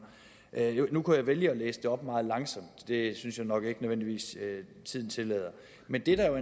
nu kunne jeg vælge at læse citatet op meget langsomt det synes jeg nok ikke nødvendigvis tiden tillader men det der jo